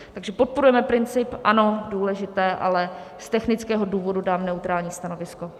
Takže podporujeme princip, ano, důležité, ale z technického důvodu dám neutrální stanovisko.